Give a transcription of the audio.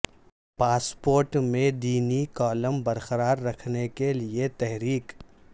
passport میں دینی column برقرار رکھنے کے لیے تحریک